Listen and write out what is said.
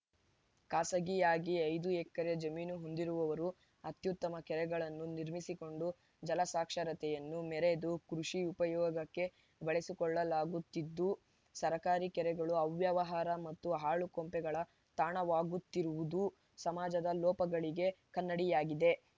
ಖಾಸಗಿಯಾಗಿ ಐದು ಎಕರೆ ಜಮೀನು ಹೊಂದಿರುವವರು ಅತ್ಯುತ್ತಮ ಕೆರೆಗಳನ್ನು ನಿರ್ಮಿಸಿಕೊಂಡು ಜಲಸಾಕ್ಷರತೆಯನ್ನು ಮೆರೆದು ಕೃಷಿ ಉಪಯೋಗಕ್ಕೆ ಬಳಸಿಕೊಳ್ಳಲಾಗುತ್ತಿದ್ದು ಸರ್ಕಾರಿ ಕೆರೆಗಳು ಅವ್ಯವಹಾರ ಮತ್ತು ಹಾಳು ಕೊಂಪೆಗಳ ತಾಣವಾಗುತ್ತಿರುವುದು ಸಮಾಜದ ಲೋಪಗಳಿಗೆ ಕನ್ನಡಿಯಾಗಿದೆ